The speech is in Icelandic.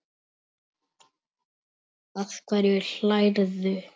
Að hverju hlærðu?